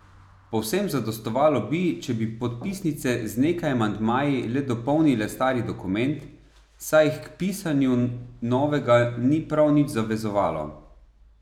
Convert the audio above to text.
Povsem zadostovalo bi, če bi podpisnice z nekaj amandmaji le dopolnile stari dokument, saj jih k pisanju novega ni prav nič zavezovalo.